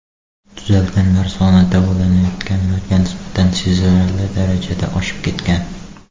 Tuzalganlar soni davolanayotganlarga nisbatan sezilarli darajada oshib ketgan.